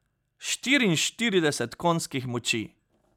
Štiriinštirideset konjskih moči!